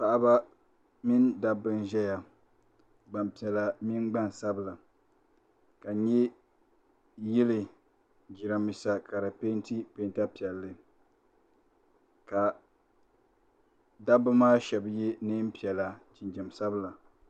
Paɣaba mini dabba n ʒɛya gbampiɛla mini gbansabla ka yili jirambisa ka di penti penta piɛlli ka dabba maa sheba ye niɛn'piɛla jinjiɛm sabila.